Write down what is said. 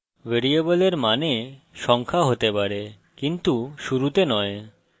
ভ্যারিয়েবলের মানে সংখ্যা হতে পারে কিন্তু শুরুতে নয়